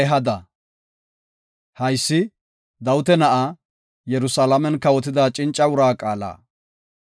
Haysi, Dawita na7aa, Yerusalaamen kawotida cinca uraa qaala.